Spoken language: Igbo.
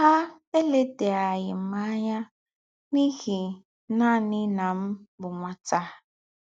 Há èlèdàghị̀ m ányà n’íhí nánị̀ na m bụ́ nwátá.